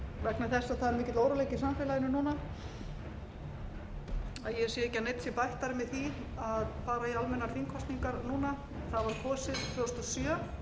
vegna þess að það er mikill óróleiki í samfélaginu núna að ég sé ekki að neinn sé bættari með því að fara í almennar þingkosningar núna það var kosið tvö þúsund og sjö